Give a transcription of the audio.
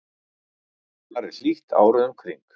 þar er hlýtt árið um kring